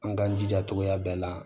An k'an jija togoya bɛɛ la